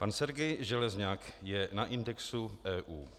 Pan Sergej Železňak je na indexu EU.